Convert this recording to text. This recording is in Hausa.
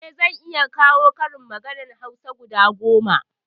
Eh zan iya kawo karin maganar hausa guda goma